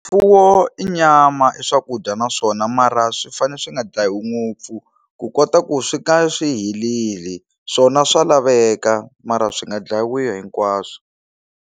Mfuwo i nyama i swakudya naswona mara swi fanele swi nga dlayiwi ngopfu ku kota ku swi ka swi heleli swona swa laveka mara swi nga dlayiwi hinkwaswo.